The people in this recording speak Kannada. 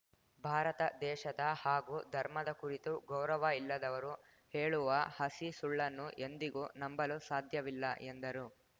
ಭಾರತ ದೇಶದ ಹಾಗೂ ಧರ್ಮದ ಕುರಿತು ಗೌರವ ಇಲ್ಲದವರು ಹೇಳುವ ಹಸಿ ಸುಳ್ಳನ್ನು ಎಂದಿಗೂ ನಂಬಲು ಸಾಧ್ಯವಿಲ್ಲ ಎಂದರು